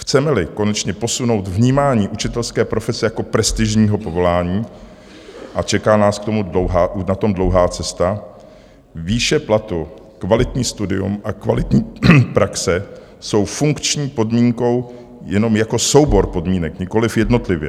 Chceme-li konečně posunout vnímání učitelské profese jako prestižního povolání, a čeká nás k tomu dlouhá cesta, výše platu, kvalitní studium a kvalitní praxe jsou funkční podmínkou jenom jako soubor podmínek, nikoliv jednotlivě.